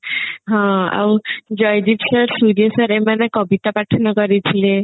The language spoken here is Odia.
ହଁ ଆଉ ଜୟଦୀପ sir ସୂର୍ୟ sir ଏମାନେ ବି କବିତା ପାଠନ କରିଥିଲେ